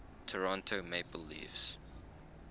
toronto maple leafs